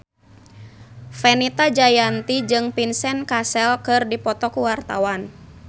Fenita Jayanti jeung Vincent Cassel keur dipoto ku wartawan